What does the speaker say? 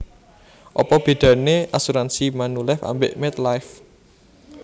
Opo bedane asuransi Manulife ambek MetLife?